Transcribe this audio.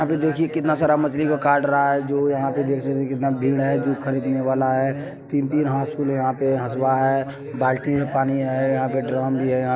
यहाँ पर देखिये कितना सारा मछली काट रहा है जो यहाँ पर देख सकते है कितना भीड़ है जो खरीदने वाला है तीन-तीन हासूल है यहाँ पे हसुआ है बाल्टी में पानी है यहाँ पे ड्रम भी है यहां---